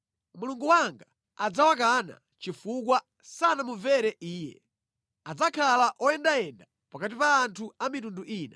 Mulungu wanga adzawakana chifukwa sanamumvere Iye; adzakhala oyendayenda pakati pa anthu a mitundu ina.